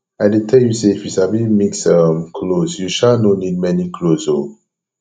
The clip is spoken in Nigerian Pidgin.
i dey tell you say if you sabi mix um clothes you um no need many clothes oo